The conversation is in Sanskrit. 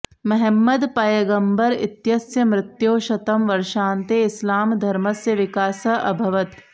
महम्मद पयगम्बर इत्यस्य मृत्योः शतं वर्षान्ते इस्लामधर्मस्य विकासः अभवत्